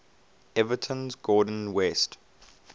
everton's gordon west